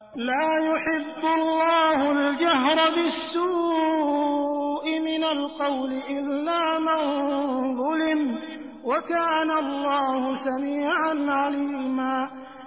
۞ لَّا يُحِبُّ اللَّهُ الْجَهْرَ بِالسُّوءِ مِنَ الْقَوْلِ إِلَّا مَن ظُلِمَ ۚ وَكَانَ اللَّهُ سَمِيعًا عَلِيمًا